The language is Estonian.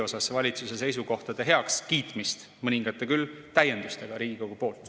Kiitsime heaks valitsuse seisukohad koos mõningate Riigikogu täiendustega.